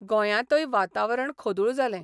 गोंयांतय वातावरण खोदूळ जालें.